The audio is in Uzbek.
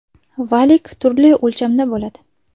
Valik turli o‘lchamda bo‘ladi.